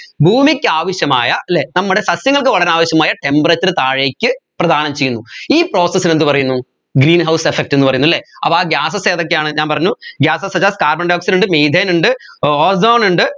ഭൂമിക്ക് ആവശ്യമായ അല്ലെ നമ്മടെ സസ്യങ്ങൾക്ക് വളരാൻ ആവശ്യമായ temperature താഴേക്ക് പ്രധാനം ചെയ്യുന്നു ഈ process നെ എന്ത് പറയുന്നു green house effect എന്ന് പറയുന്നു അല്ലെ അപ്പോ ആ gases ഏതൊക്കെയാണ് ഞാൻ പറഞ്ഞു gasessuch as carbon dioxide ഉണ്ട് methane ഉണ്ട് ozone ഉണ്ട്